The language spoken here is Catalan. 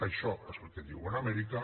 això és el que diuen a amèrica